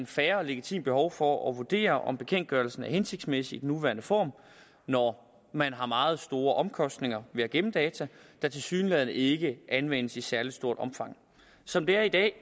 fair og legitimt behov for at vurdere om bekendtgørelsen er hensigtsmæssig i sin nuværende form når man har meget store omkostninger ved at gemme data der tilsyneladende ikke anvendes i særlig stort omfang som det er i dag